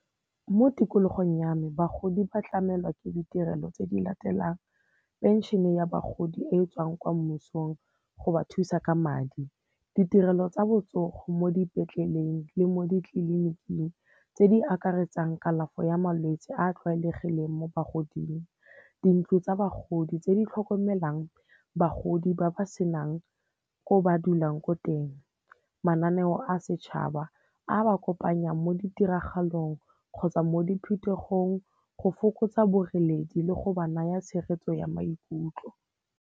Mo tikologong ya me, bagodi ba tlamelwa ke ditirelo tse di latelang. Phenšene ya bagodi e tswang kwa mmusong go ba thusa ka madi, ditirelo tsa botsogo mo dipetleleng le mo ditleliniking tse di akaretsang kalafo ya malwetse a a tlwaelegileng mo bogodimong. Dintlo tsa bagodi, tse di tlhokomelang bagodi ba ba senang ko ba dulang ko teng. Mananeo a setšhaba, a ba kopanyang mo ditiragalong kgotsa mo diphuthegong go fokotsa boreledi le go ba naya tshegetso ya maikutlo.